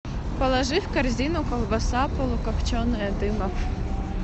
положи в корзину колбаса полукопченая дымов